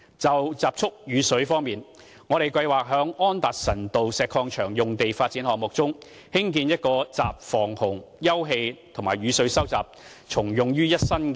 就集蓄雨水方面，我們計劃在安達臣道石礦場用地發展項目中，興建一個集防洪、休憩和雨水收集重用於一身的人工湖。